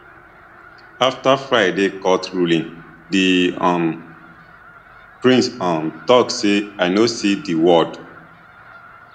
afta friday court ruling di um prince um tok say i no see di world